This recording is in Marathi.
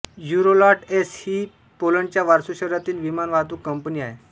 युरोलॉट एस ए ही पोलंडच्या वॉर्सो शहरातील विमानवाहतूक कंपनी आहे